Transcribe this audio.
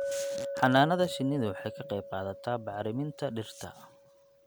Xannaanada shinnidu waxay ka qayb qaadataa bacriminta dhirta.